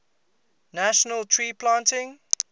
national tree planting